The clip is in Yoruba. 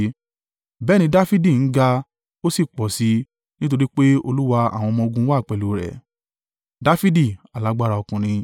Bẹ́ẹ̀ ni Dafidi ń ga, ó sì pọ̀ sí i, nítorí pé Olúwa àwọn ọmọ-ogun wà pẹ̀lú rẹ̀.